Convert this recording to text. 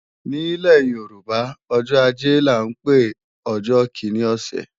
Nílẹ̀ Yorùbá, ọjọ́ ajé là ń pe ọjọ́ kíní ọ̀sẹ̀